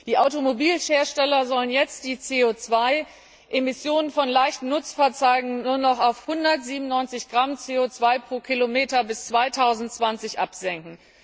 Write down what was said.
Die Automobilhersteller sollen jetzt die CO 2 Emissionen von leichten Nutzfahrzeugen nur noch auf 197 Gramm CO 2 km bis 2020 absenken.